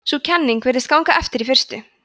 sú kenning virtist ganga eftir í fyrstu